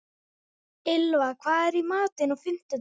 Minni hagvöxtur í Bandaríkjunum